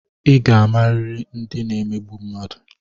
I ga-amariri ndị na-emegbu mmadụ!